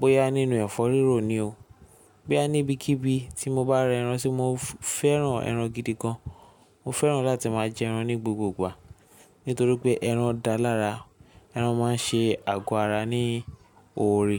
bóyá nínú ẹ̀fọ́ rírò ni o, bóyá ní ibikíbi tí mo bá rẹ ẹran ṣe mo fẹ́ran ẹran gidi gan. Mo fẹ́ran láti máa jẹ ẹran ní gbogbogbà. Nítorí pé ẹran dáa lára, ẹran máa ń ṣe àgọ́ ara ní oore.